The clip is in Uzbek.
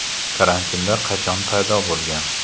Karantinlar qachon paydo bo‘lgan?.